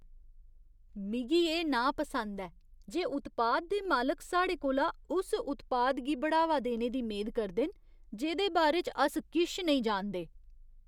मिगी एह् नापसंद ऐ जे उत्पाद दे मालक साढ़े कोला उस उत्पाद गी बढ़ावा देने दी मेद करदे न जेह्‌दे बारे च अस किश नेईं जानदे।